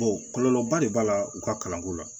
kɔlɔlɔba de b'a la u ka kalanko la